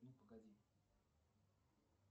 ну погоди